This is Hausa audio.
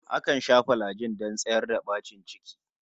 Akan sha filajin don tsayar da bacin ciki